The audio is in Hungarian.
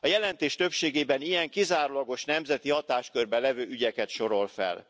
A jelentés többségében ilyen, kizárólagos nemzeti hatáskörben levő ügyeket sorol fel.